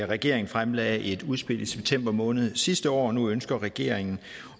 regeringen fremlagde et udspil i september måned sidste år og nu ønsker regeringen